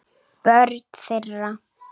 Börn þeirra.